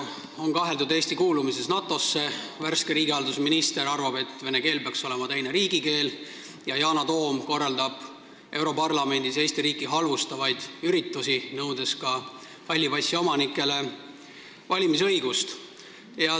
On kaheldud Eesti kuulumises NATO-sse, värske riigihalduse minister arvab, et vene keel peaks olema teine riigikeel, ja Yana Toom korraldab europarlamendis Eesti riiki halvustavaid üritusi, nõudes ka halli passi omanikele valimisõigust.